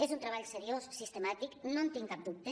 és un treball seriós sistemàtic no en tinc cap dubte